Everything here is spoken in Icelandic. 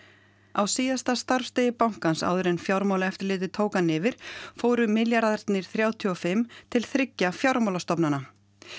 á síðasta starfsdegi bankans áður en Fjármálaeftirlitið tók hann yfir fóru milljarðarnir þrjátíu og fimm til þriggja fjármálastofnana